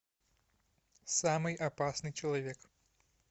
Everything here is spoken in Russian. самый опасный человек